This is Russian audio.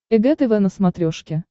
эг тв на смотрешке